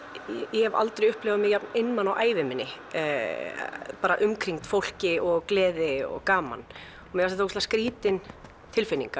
ég hef aldrei upplifað mig jafn einmana á ævinni umkringd fólki og gleði og gaman mér fannst skrítið